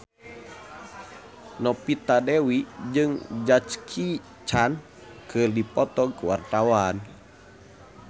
Novita Dewi jeung Jackie Chan keur dipoto ku wartawan